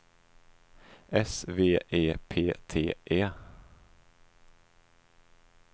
S V E P T E